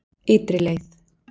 Ytri leið